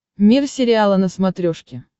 мир сериала на смотрешке